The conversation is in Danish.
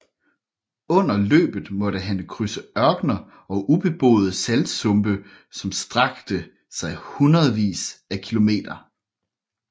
Under løbet måtte han krydse ørkener og ubeboede saltsumpe som strakte sig hundredvis af km